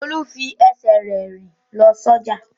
Olú fi ẹsẹ̀ rẹ̀ rìn lọ sọ́jà.